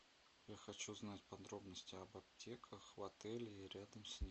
я хочу знать подробности об аптеках в отеле и рядом с ним